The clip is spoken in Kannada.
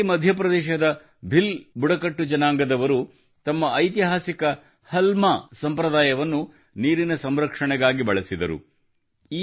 ಇದೇ ರೀತಿ ಮಧ್ಯಪ್ರದೇಶದ ಭಿಲ್ ಬುಡಕಟ್ಟು ಜನಾಂಗದವರು ತಮ್ಮ ಐತಿಹಾಸಿಕ ಹಲ್ಮಾ ಸಂಪ್ರದಾಯವನ್ನು ನೀರಿನ ಸಂರಕ್ಷಣೆಗಾಗಿ ಬಳಸಿದರು